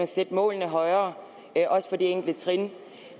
sætte målene højere også på de enkelte trin